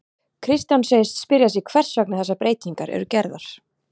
Kristján segist spyrja sig hvers vegna þessar breytingar eru gerðar?